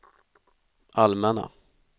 allmänna